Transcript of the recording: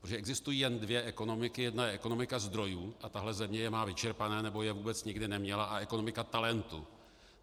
Protože existují jen dvě ekonomiky, jedna je ekonomika zdrojů, a tahle země je má vyčerpané, nebo je vůbec nikdy neměla, a ekonomika talentu.